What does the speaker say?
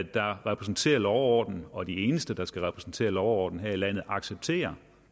der repræsenterer lov og orden og de eneste der skal repræsentere lov og orden her i landet accepterer